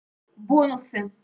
бонусы